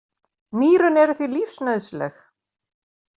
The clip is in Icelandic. Nýrun eru því lífsnauðsynleg.